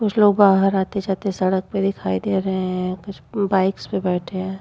कुछ लोग बाहर आते जाते सड़क पे दिखाई दे रहे हैं। कुछ बाइक्स पर बैठे हैं।